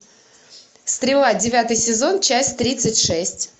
стрела девятый сезон часть тридцать шесть